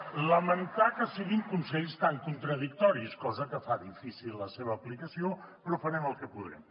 lamentar que siguin consells tan contradictoris cosa que fa difícil la seva aplicació però farem el que podrem